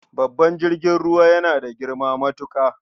Babban jirgin ruwa yana da girma matuƙa.